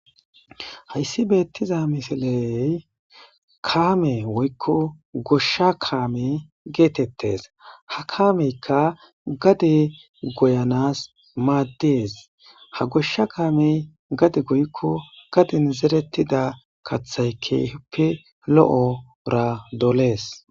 hayssi beettiza misiley kaame woykko goshsha kaame geetettes ha kaameykka gade goyanas maaddees ha goshsha kaamey gade goykko gadin zerettida kathay kehippe lo7ora dolees